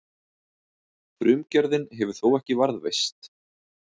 Frumgerðin hefur þó ekki varðveist.